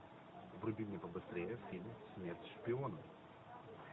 вруби мне побыстрее фильм смерть шпионам